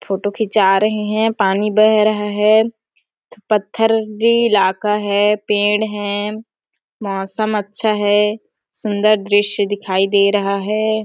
Photo खींचा रहै है पानी बह रहा है पत्थरी इलाका है पेड़ है मौसम अच्छा है सुंदर दृश्य दिखाई दे रहा है।